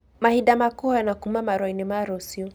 Mahinda ma kũhoyana kuuma marũa-inĩ ma rũciũ